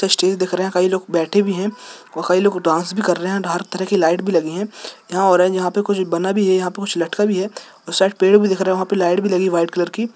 stage दिख रही है कई लोग बैठे भी है और कई लोग डांस भी कर रहे है हर तरह का लाइट् भी लगी है यहाँ ऑरेंज यहाँ पे कुछ बना भी है यहाँ पे कुछ लटका भी हैऔर शायद पेड़ भी दिख रहे है वह लाइट् भी लगी है वाइट कलर की--